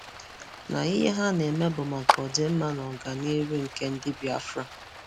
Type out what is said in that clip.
Nà ihe ha na-eme bụ maka ọdịmma na ọganịrụ nke ndị ndị Biafra.